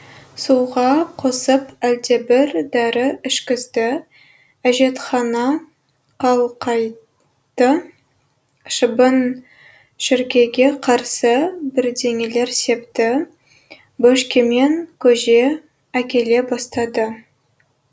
суға қосып әлдебір дәрі ішкізді әжетхана қалқайтты шыбын шіркейге қарсы бірдеңелер септі бөшкемен көже әкеле бастады